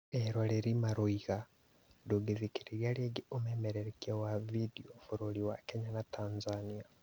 eroreri marauga "ndũngĩthikĩria rĩngĩ ũmemerekia wa video, bũrũri wa Kenya na Tanzania"